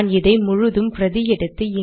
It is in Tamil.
நான் இதை முழுதும் பிரதி எடுத்து